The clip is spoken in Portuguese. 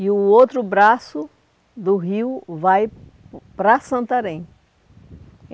e o outro braço do rio vai para Santarém.